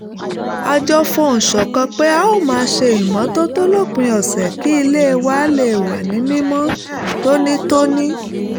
a jọ fohùn ṣọ̀kan pé a ó máa ṣe ìmọ́tótó lópin ọ̀sẹ̀ kí ilé wa lè wà ní mímọ́ tónítóní